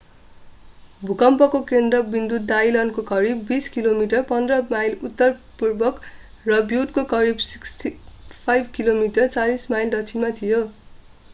भूकम्पको केन्द्रविन्दु डाइलनको करिब 20 किमि 15 माइल उत्तर-उत्तरपूर्व र ब्युटको करिब 65 किमि 40 माइल दक्षिणमा थियो।